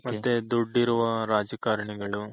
ಮತ್ತೆ ದುಡ್ಡಿರುವ ರಾಜಕಾರಣಿಗಳು